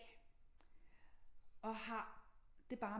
Og har det bare